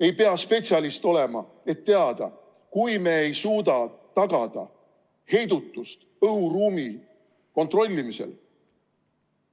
Ei pea spetsialist olema, et teada: kui me ei suuda tagada heidutust õhuruumi kontrollimisel,